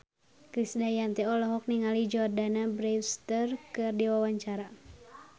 Krisdayanti olohok ningali Jordana Brewster keur diwawancara